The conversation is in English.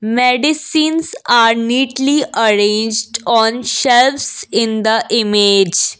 medicines are neatly arranged on shelves in the image.